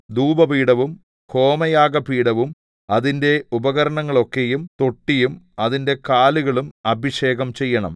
ധൂപപീഠവും ഹോമയാഗപീഠവും അതിന്റെ ഉപകരണങ്ങളൊക്കെയും തൊട്ടിയും അതിന്റെ കാലുകളും അഭിഷേകം ചെയ്യണം